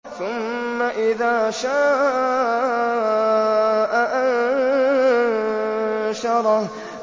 ثُمَّ إِذَا شَاءَ أَنشَرَهُ